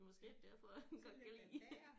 Måske er det derfor han godt kan lide